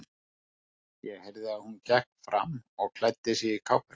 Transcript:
Ég heyrði að hún gekk fram og klæddi sig í kápuna.